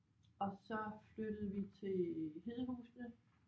Og så flyttede vi til Hedehusene